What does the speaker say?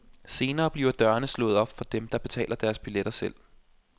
Senere bliver dørene slået op for dem, der betaler deres billetter selv.